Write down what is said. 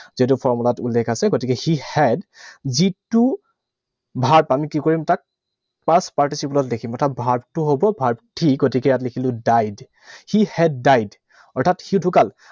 যিহেতু formula ত উল্লেখ আছে। গতিকে he had যিটো verb, আমি কি কৰিম তাত? Past participle ত দেখিম। অৰ্থাৎ verb টো হব verb three, গতিকে ইয়াত লিখিলো died. He had died অৰ্থাৎ সি ঢুকাল।